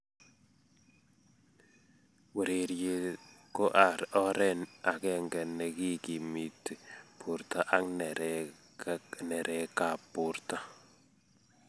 Urerie ko oree akenge ne kikimiti borto ak neree kab borto.